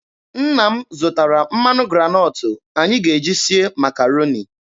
Nna m zụtara mmanụ granọtụ anyị ga-eji sie Makaroni.